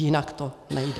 Jinak to nejde.